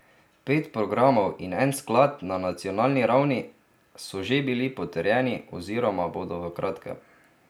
Pet programov in en sklad na nacionalni ravni so že bili potrjeni oziroma bodo v kratkem.